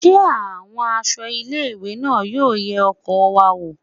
Ṣé àwọn ẹ̀ṣọ́ ilé ìwé náà yóò ye ọkọ̀ wa wò?